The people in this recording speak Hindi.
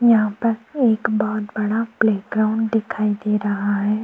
यहाँ पर एक बहुत बड़ा प्लेग्राउंड दिखाई दे रहा है।